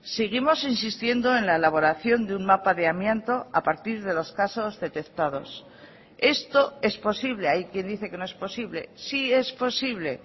seguimos insistiendo en la elaboración de un mapa de amianto a partir de los casos detectados esto es posible hay quien dice que no es posible sí es posible